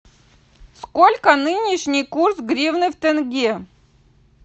сколько нынешний курс гривны в тенге